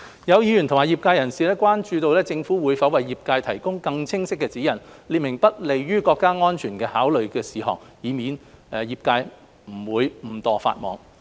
有議員及業界人士關注政府會否為業界提供更清晰指引，列明不利於國家安全的考慮事項，以免業界誤墮法網。